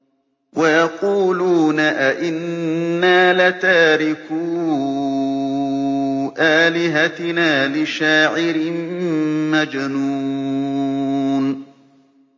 وَيَقُولُونَ أَئِنَّا لَتَارِكُو آلِهَتِنَا لِشَاعِرٍ مَّجْنُونٍ